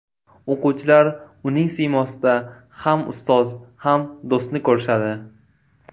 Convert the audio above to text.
O‘quvchilar uning siymosida ham ustoz ham do‘stni ko‘rishadi.